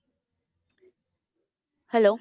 Hello